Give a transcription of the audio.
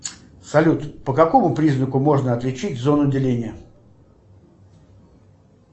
салют по какому признаку можно отличить зону деления